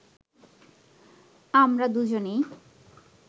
আমরা দুজনেই